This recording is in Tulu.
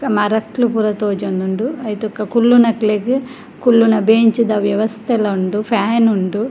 ಮರಕ್ಲ್ ಪೂರ ತೋಜೊಂದುಂಡು ಐಟ್ ಬೊಕ ಕುಲ್ಲುನಕ್ಲೆಗ್ ಕುಲ್ಲುನ ಬೆಂಚ್ ದ ವ್ಯವಸ್ತೆಲ ಉಂಡು ಫ್ಯಾನ್ ಉಂಡು.